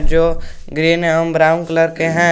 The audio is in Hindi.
जो ग्रीन एवम ब्राउन कलर के हैं।